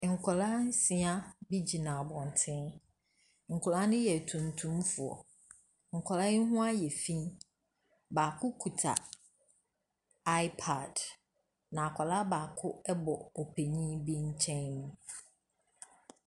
Nkwadaa nsia bi gyina abɔnten. Nkwadaa ne yɛ atuntumfoɔ, nkwadaa yi ho ayɛ fii. Baako kita iPad, na akwadaa baako bɔ ɔpanin bi nkyɛn.